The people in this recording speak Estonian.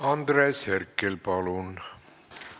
Andres Herkel, palun!